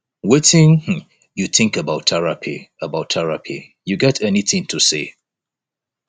wetin um you think about therapy about therapy you get anything to say